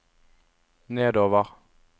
nedover